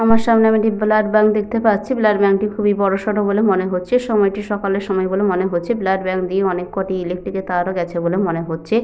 আমার সামনে আমি একটি ব্লাড ব্যাঙ্ক দেখতে পাচ্ছি। ব্লাড ব্যাঙ্ক -টি খুবই বড় সড় বলে মনে হচ্ছে। সময়টি সকালে সময় বলে মনে হচ্ছে। ব্লাড ব্যাঙ্ক দিয়ে অনেক কটি ইলেকট্রিক -এর তারও গেছে বলে মনে হচ্ছে।